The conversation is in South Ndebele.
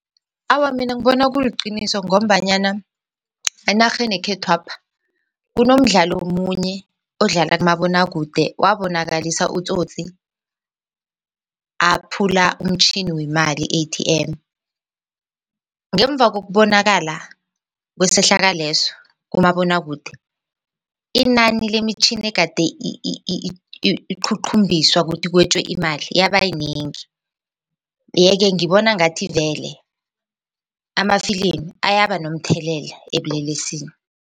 Awa, mina ngibona kuliqiniso ngombanyana enarheni yekhethwapha kunomdlalo omunye odlala kumabonakude wabonakalisa utsotsi aphula umtjhini wemali i-ATM ngemva kokubonakala kwesehlakalweso kumabonwakude inani lemitjhini egade iqhuqhumbiswa ukuthi kwetjiwe imali yaba yinengi yeke ngibona ngathi vele amafilimu ayaba nomthelela ebulelesini.